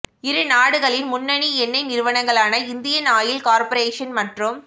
இரு நாடுகளின் முன்னனி எண்ணெய் நிறுவனங்களான இந்தியன் ஆயில் கார்பொரேஷன் மற்றும்